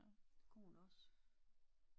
Det kunne hun også